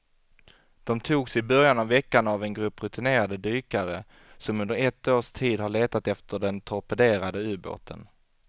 De togs i början av veckan av en grupp rutinerade dykare som under ett års tid har letat efter den torpederade ubåten.